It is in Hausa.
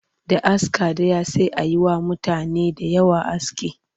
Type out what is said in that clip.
Da aska ɗaya sai a yi wa mutane da yawa aski